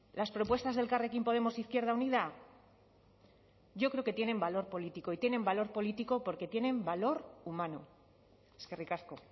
las propuestas de elkarrekin podemos izquierda unida yo creo que tienen valor político y tienen valor político porque tienen valor humano eskerrik asko